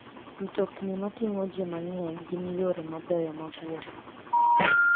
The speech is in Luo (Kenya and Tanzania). Mtokni mating'o ji mang'eny gin yore mabeyo mag wuoth.